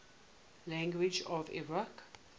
languages of iraq